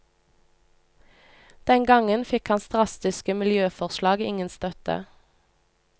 Den gangen fikk hans drastiske miljøforslag ingen støtte.